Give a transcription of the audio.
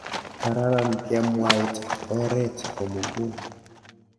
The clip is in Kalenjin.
Kararan kebwait oret komugul